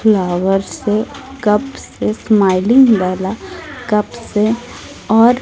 flower से cup से smiling वाला कप से और--